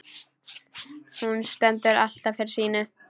Hún stendur alltaf fyrir sínu.